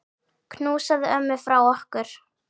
Knúsaðu ömmu frá okkur.